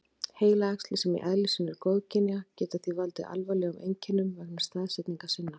Heilaæxli, sem í eðli sínu eru góðkynja, geta því valdið alvarlegum einkennum vegna staðsetningar sinnar.